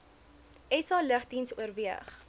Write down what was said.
sa lugdiens oorweeg